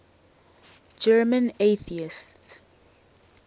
german atheists